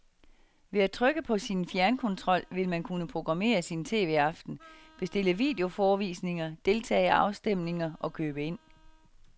Ved at trykke på sin fjernkontrol vil man kunne programmere sin tv-aften, bestille videoforevisninger, deltage i afstemninger og købe ind.